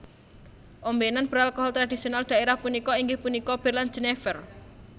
Ombenan beralkohol tradisional daerah punika inggih punika bir lan Jenever